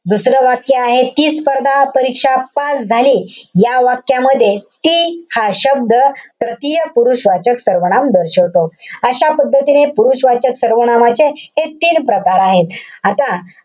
दुसरं वाक्य आहे ती स्पर्धापरीक्षा pass झाली. या वाक्यामध्ये ती हा शब्द तृतीय पुरुषवाचक सर्वनाम दर्शवतो. अशा पद्धतीने पुरुषवाचक सर्वनामाचे हे तीन प्रकार आहेत. आता,